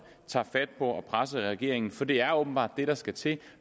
tager fat på at presse regeringen for det er åbenbart det der skal til